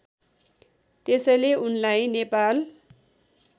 त्यसैले उनलाई नेपाल